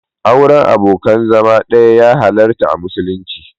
Auren abokin zama ɗaya ya halarta a musulunci.